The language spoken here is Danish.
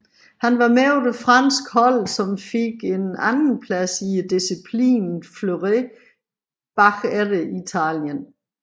Han var med på det franske hold som fik en anden plads i disciplinen Fleuret bagefter Italien